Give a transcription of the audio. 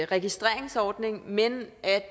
registreringsordning men